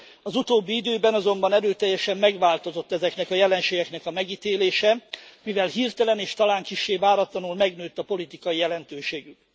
Az utóbbi időben azonban erőteljesen megváltozott ezeknek a jelenségeknek a megítélése, mivel hirtelen, és talán kissé váratlanul, megnőtt a politikai jelentőségük.